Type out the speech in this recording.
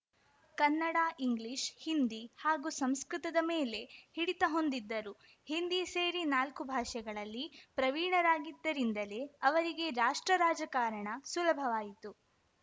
Kannada English Hindi ಹಾಗೂ ಸಂಸ್ಕೃತದ ಮೇಲೆ ಹಿಡಿತ ಹೊಂದಿದ್ದರು ಹಿಂದಿ ಸೇರಿ ನಾಲ್ಕು ಭಾಷೆಗಳಲ್ಲಿ ಪ್ರವೀಣರಾಗಿದ್ದರಿಂದಲೇ ಅವರಿಗೆ ರಾಷ್ಟ್ರ ರಾಜಕಾರಣ ಸುಲಭವಾಯಿತು